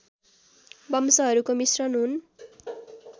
वंशहरूको मिश्रण हुन्